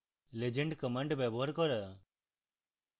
legend command ব্যবহার করা